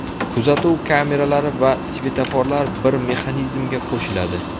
Kuzatuv kameralari va sfetoforlar bir mexanizmga qo‘shiladi.